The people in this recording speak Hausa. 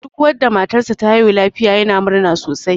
Duk wanda matar sa ta haihu lafiya yana murna sosai.